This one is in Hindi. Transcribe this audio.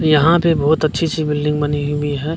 यहाँ पे बहुत अच्छी-अच्छी बिल्डिंग बनी हुई है --